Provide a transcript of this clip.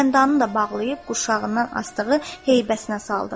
Qələmdanını da bağlayıb quşağından asdığı heybəsinə saldı.